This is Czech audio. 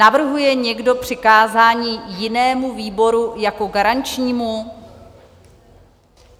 Navrhuje někdo přikázání jinému výboru jako garančnímu?